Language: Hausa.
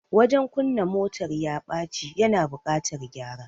Wajen kunna motar ya bace, ya na buƙatar gyara